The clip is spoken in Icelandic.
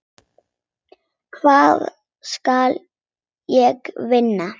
Hvað skal ég vinna?